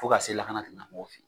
Fo ka se lakana tigina mɔgɔw fɛ.